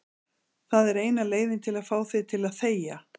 Það er eina leiðin til að fá þig til að þegja.